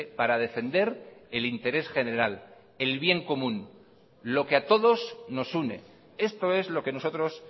para defender el interés general el bien común lo que a todos nos une esto es lo que nosotros